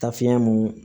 Taa fiɲɛ mun